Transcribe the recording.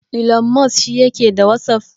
Ilon Mos shi yake da wasaf?